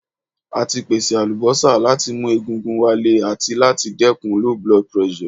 A ti pese alubosa lati mu egungun wa Le ati lati dekun low blood pressure